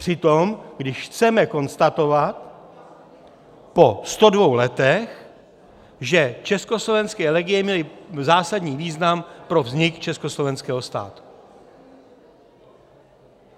Při tom když chceme konstatovat po 102 letech, že československé legie měly zásadní význam pro vznik československého státu.